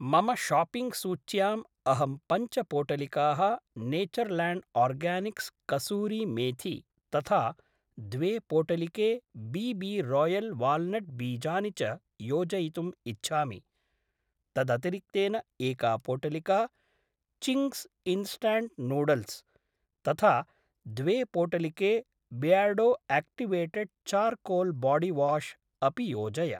मम शाप्पिङ्ग् सूच्याम् अहं पञ्च पोटलिकाः नेचर्ल्याण्ड् आर्गानिक्स् कसूरि मेथि तथा द्वे पोटलिके बी बी रोयल् वाल्नट् बीजानि च योजयितुम् इच्छामि। तदतिरिक्तेन एका पोटलिका चिङ्ग्स् इन्स्टण्ट् नूड्ल्स् तथा द्वे पोटलिके बियर्डो आक्टिवेटेड् चार्कोल् बोडिवाश् अपि योजय।